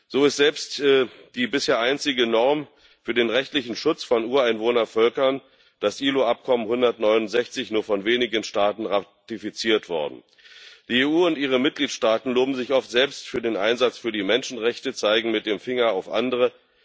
So ist selbst die bisher einzige Norm für den rechtlichen Schutz von Ureinwohnervölkern, das IAO Übereinkommen 169, nur von wenigen Staaten ratifiziert worden. Die EU und ihre Mitgliedstaaten loben sich oft selbst für den Einsatz für die Menschenrechte, zeigen mit dem Finger auf andere.